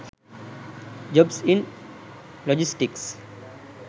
jobs in logistics